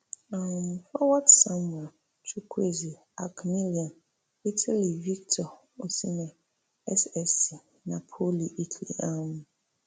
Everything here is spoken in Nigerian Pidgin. um forwards samuel chukwueze ac milan italy victor osimhen ssc napoli italy um